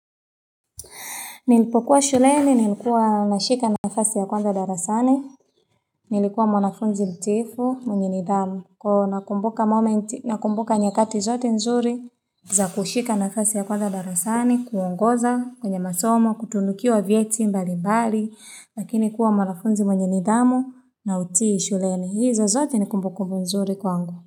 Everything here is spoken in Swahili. Nilipokuwa shuleni, nilikuwa nashika nafasi ya kwanza darasani, nilikuwa mwanafunzi mtiifu, mwenye nidhamu. Kwa nakumbuka nyakati zote nzuri za kushika nafasi ya kwanza darasani, kuongoza kwenye masomo, kutunukiwa vyeti mbali mbali, lakini kuwa mwanafunzi mwenye nidhamu na uti shuleni. Hizo zote nikumbukumbu mzuri kwangu.